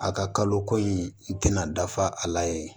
A ka kalo ko in i tɛna dafa a la yen